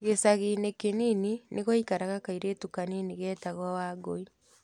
Gĩcagi-inĩ kĩnini, nĩ gwaikaraga kairĩtu kanini geetagwo Wangũi.